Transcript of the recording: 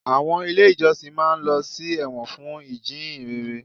Àwọn ilé ìjọsìn máa ń lọ sí ẹ̀wọ̀n fún ìjíhìnrere